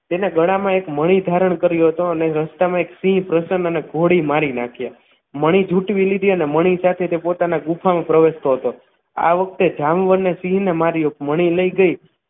તેણે ગળામાં એક મળી ધારણ કર્યો હતો અને રસ્તામાં એક સિંહ પ્રસન્ન ને ગોળી મારી નાખ્યા મણી જુટવી લીધી અને મણી સાથે તે પોતાના ગુફામાં પ્રવેશ તો હતું આ વખતે જામવાનું સિંહને માર્યો મણી લઈ ગઈ